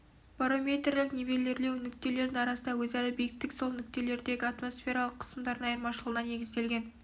барометрлік нивелирлеу нүктелердің арасындағы өзара биіктік сол нүктелердегі атмосфералық қысымдардың айырмашылығына негізделген